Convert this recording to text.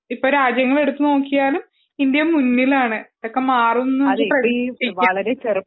ഇപ്പോൾ രാജ്യങ്ങൾ എടുത്തുനോക്കുകയാണെങ്കിലും ഇന്ത്യ മുന്നിലാണ് അതൊക്കെ മാറുമെന്ന് നമ്മക്ക് പ്രതീക്ഷിക്കാം